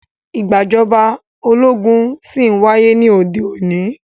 Ìgbàjọba ológun ṣí ń wáyé ní òde òní.